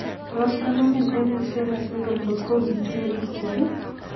Tos konamin Empty sella syndrome kot ko kitinye pikwok iih?